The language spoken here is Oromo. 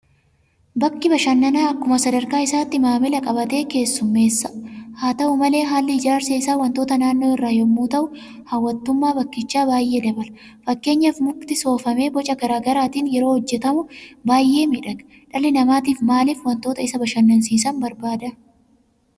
Bakki bashannanaa akkuma sadarkaa isaatti maamila qabatee keessummeessa. Haata'u malee haalli ijaarsa isaa waantota naannoo irraa yemmuu ta'u hawwattummaa bakkichaa baay'ee dabala. Fakkeenyaaf Mukti Soofamee boca garaa garaatiin yeroo hojjetamu baay'ee miidhaga. Dhalli namaa maaliif waantota isa bashannansiisan barbaada?